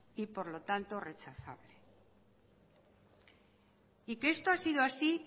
y por lo tanto rechazable y que esto ha sido así